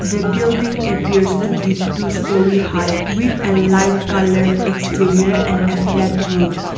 the building appears to be two storey height with a light coloured exterior and a flat roof.